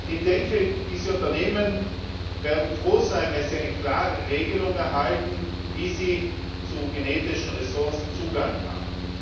Ich denke, diese Unternehmen werden froh sein, wenn sie eine klare Regelung erhalten, wie sie zu genetischen Ressourcen Zugang haben.